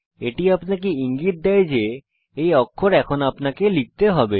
এটি আপনাকে ইঙ্গিত দেয় যে এই অক্ষর এখন আপনাকে লিখতে হবে